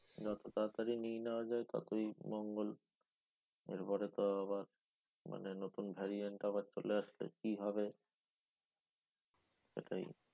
যত তাড়াতাড়ি নিয়ে নেওয়া যায় ততই মঙ্গল। এরপরে তো আবার মানে নতুন variant আবার চলে আসছে কি হবে? সেটাই